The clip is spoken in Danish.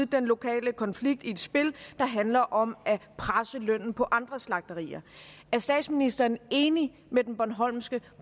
den lokale konflikt i et spil der handler om at presse lønnen på andre slagterier er statsministeren enig med den bornholmske